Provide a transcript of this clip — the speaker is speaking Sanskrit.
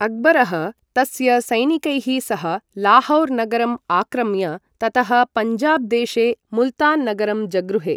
अक्बरः तस्य सैनिकैः सह लाहौर् नगरम् आक्रम्य ततः पञ्जाब देशे मुल्तान् नगरं जगृहे।